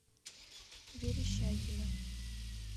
верещагина